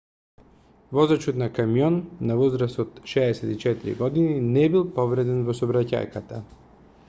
возачот на камион на возраст од 64 години не бил повреден во сообраќајката